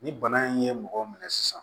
Ni bana in ye mɔgɔ minɛ sisan